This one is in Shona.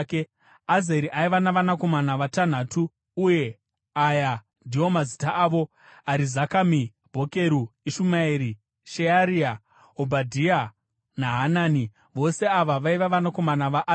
Azeri aiva navanakomana vatanhatu, uye aya ndiwo mazita avo: Arizakami, Bhokeru, Ishumaeri, Shearia, Obhadhia naHanani. Vose ava vaiva vanakomana vaAzeri.